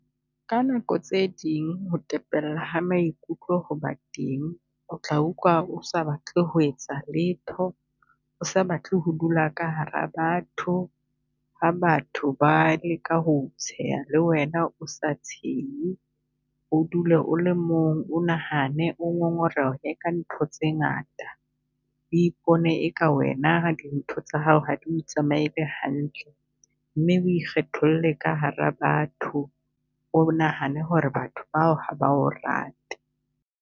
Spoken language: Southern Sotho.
Ka nako tse ding ho tepella ha maikutlo ho ba teng, o tla utlwa o sa batle ho etsa letho, o sa batle ho dula ka hara batho. Ha batho ba leka ho tsheha le wena, o sa tshehe, o dule o le mong, o nahane o ngongorehe ka ntho tse ngata. O ipone e ka wena dintho tsa hao ha di o tsamaele hantle, mme o kgetholle ka hara batho. O bo nahane ho re batho bao ha ba o rate.